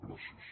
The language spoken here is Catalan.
gràcies